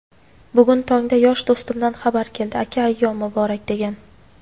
Bugun tongda yosh do‘stimdan xabar keldi "Aka ayyom muborak" degan.